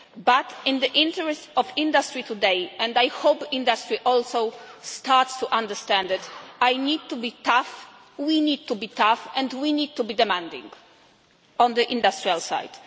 However, in the interests of the industry today and I hope that the industry also starts to understand it I need to be tough, we need to be tough, and we need to be demanding on the industrial side.